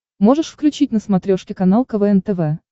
можешь включить на смотрешке канал квн тв